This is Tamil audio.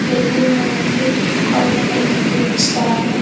பெரியவங்க வந்து கொழந்தைகளுக்கு கிப்ஃட்ஸ் தராங்க.